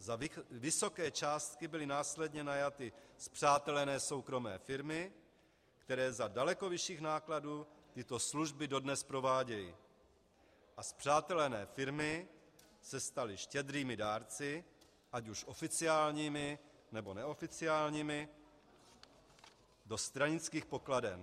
Za vysoké částky byly následně najaty spřátelené soukromé firmy, které za daleko vyšších nákladů tyto služby dodnes provádějí, a spřátelené firmy se staly štědrými dárci, ať už oficiálními, nebo neoficiálními, do stranických pokladen.